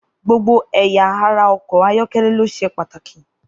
Gbogbo ẹ̀ya ara ọkọ̀ ayọ́kẹ́lẹ́ ló ṣe pàtàkì.